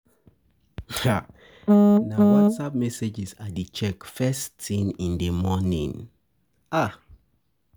Na WhatsApp messages I dey check first thing in the morning.